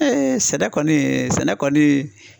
sɛnɛ kɔni sɛnɛ kɔni